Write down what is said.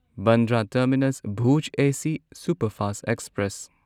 Bandra terminus Bhuj AC superfast express